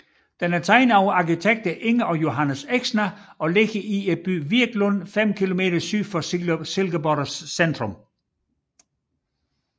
Den er tegnet af arkitekterne Inger og Johannes Exner og ligger i byen Virklund fem kilometer syd for Silkeborgs centrum